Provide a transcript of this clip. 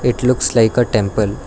it looks like a temple.